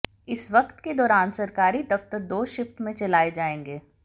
इस वक्त के दौरान सरकारी दफ्तर दो शिफ्ट में चलाए जाएंगे